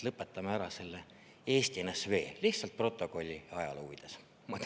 Lõpetame ära selle Eesti NSV, lihtsalt protokolli, ajaloo huvides!